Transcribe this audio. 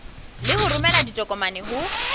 le ho romela ditokomane ho